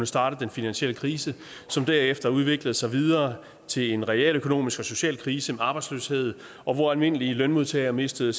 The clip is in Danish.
starte den finansielle krise som derefter udviklede sig videre til en realøkonomisk og social krise med arbejdsløshed hvor almindelige lønmodtagere mistede